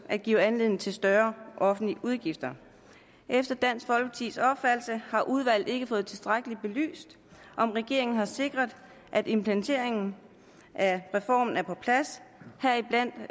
at give anledning til større offentlige udgifter efter dansk folkepartis opfattelse har udvalget ikke fået tilstrækkeligt belyst om regeringen har sikret at implementeringen af reformen er på plads heriblandt